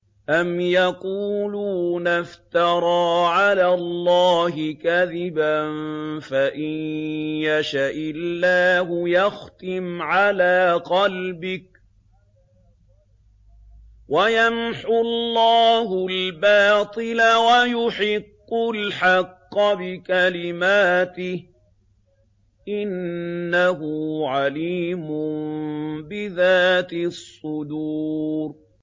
أَمْ يَقُولُونَ افْتَرَىٰ عَلَى اللَّهِ كَذِبًا ۖ فَإِن يَشَإِ اللَّهُ يَخْتِمْ عَلَىٰ قَلْبِكَ ۗ وَيَمْحُ اللَّهُ الْبَاطِلَ وَيُحِقُّ الْحَقَّ بِكَلِمَاتِهِ ۚ إِنَّهُ عَلِيمٌ بِذَاتِ الصُّدُورِ